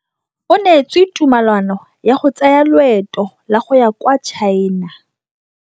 O neetswe tumalanô ya go tsaya loetô la go ya kwa China.